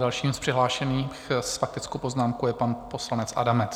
Dalším z přihlášených s faktickou poznámkou je pan poslanec Adamec.